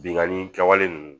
Bingani kɛwale ninnu